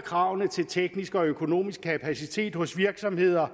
kravene til teknisk og økonomisk kapacitet hos virksomheder